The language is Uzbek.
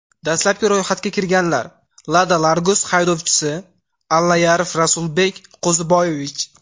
Dastlabki ro‘yxatga kirganlar: Lada Largus haydovchisi: Allayarov Rasulbek Qo‘ziboyevich.